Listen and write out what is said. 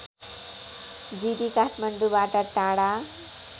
जिरी काठमाडौँबाट टाढा